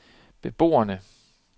beboerne